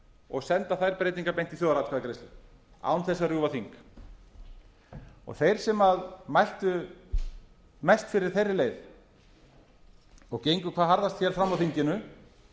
og senda þær breytingar beint í þjóðaratkvæðagreiðslu án þess að rjúfa þing þeir sem mæltu með beri leið og gengu hvað harðast fram á þinginu